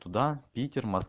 туда питер мос